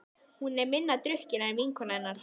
Hún er minna drukkin en vinkona hennar.